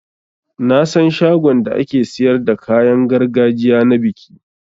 Nasan shagon da ake siyar da kayan gargajiya na biki.